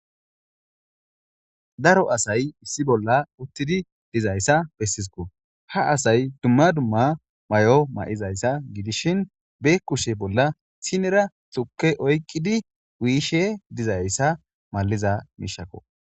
daro asay issi bolla uttidi dizayssa bessisko ha asay dumma dumma may7o ma7izayssa gidishin be kushe bolla sinera xukke oyqqidi wiishe dizayssa maliza miishakko